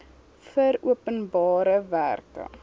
vir openbare werke